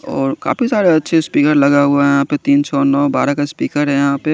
और काफी सारे अच्छे स्पीकर लगे हुए है तिन सो नो बारा का स्पीकर है यहा पे।